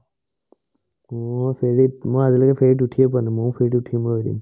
অ ফেৰিত, মই আজিলৈকে ফেৰিত উঠিয়ে পোৱা নাই ময়ো ফেৰিত উঠিম ৰ' এদিন